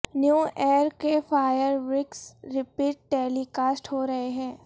new year کے fireworks repeat telecast ہو رہےہیں